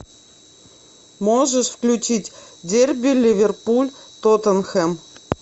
можешь включить дерби ливерпуль тоттенхэм